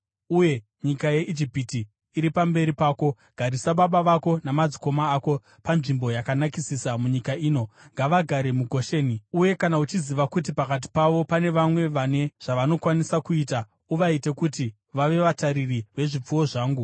uye nyika yeIjipiti iri pamberi pako; garisa baba vako namadzikoma ako panzvimbo yakanakisisa munyika ino. Ngavagare muGosheni. Uye kana uchiziva kuti pakati pavo pane vamwe vane zvavanokwanisa kuita, uvaite kuti vave vatariri vezvipfuwo zvangu.”